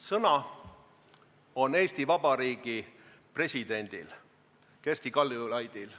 Sõna on Eesti Vabariigi presidendil Kersti Kaljulaidil.